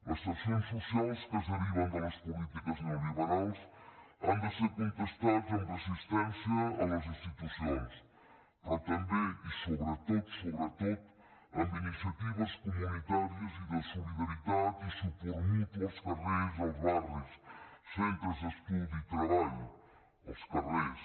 les tensions socials que es deriven de les polítiques neolliberals han de ser contestades amb resistència a les institucions però també i sobretot sobretot amb iniciatives comunitàries i de solidaritat i suport mutu als carrers als barris centres d’estudi i treball als carrers